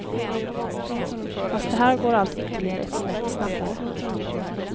Fast här går allt ytterligare ett snäpp snabbare.